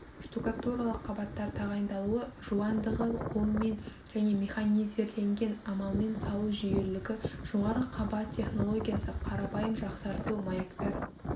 штукатуралық қабаттар тағайындалуы жуандығы қолмен және механизирленген амалмен салу жүйелілігі жоғары қабат технологиясы қарапайым жақсарту маяктар